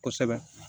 Kosɛbɛ